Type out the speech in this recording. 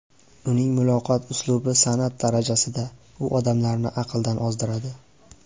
Uning muloqot uslubi san’at darajasida, u odamlarni aqldan ozdiradi”.